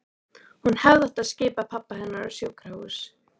Hún hefði átt að skipa pabba hennar á sjúkrahús.